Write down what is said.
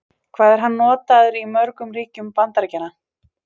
Hvað er hann notaður í mörgum ríkjum Bandaríkjanna?